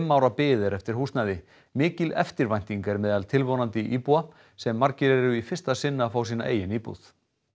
ára bið er eftir húsnæði mikil eftirvænting er meðal tilvonandi íbúa sem margir eru í fyrsta sinn að fá sína eigin íbúð